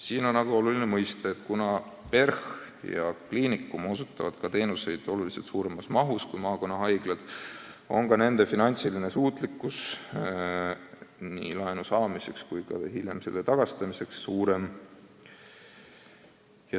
Samas on oluline mõista, et kuna PERH ja Tartu Ülikooli Kliinikum osutavad teenuseid märksa suuremas mahus kui maakonnahaiglad, on ka nende finantsiline suutlikkus nii laenu saada kui ka hiljem seda tagasi maksta suurem.